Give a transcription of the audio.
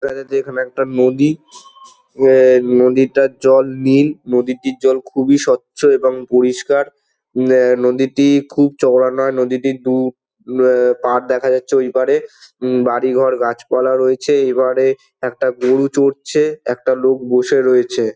দেখা যাচ্ছে এখানে একটা নদী। এ নদীটার জল নীল। নদীটির জল খুবই স্বচ্ছ এবং পরিষ্কার। উম এ নদীটি খুব চওড়া না নদীটির দু- উ পাড় দেখা যাচ্ছে। ওই পাড়ে উম বাড়ি ঘর গাছপালা রয়েছে। এবারে একটা গরু চড়ছে। একটা লোক বসে রয়েছে।